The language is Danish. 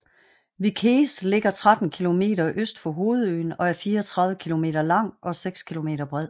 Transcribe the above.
Vieques ligger 13 km øst for hovedøen og er 34 km lang og 6 km bred